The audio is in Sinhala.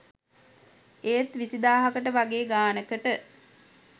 ඒත් විසිදාහකට වගේ ගානකට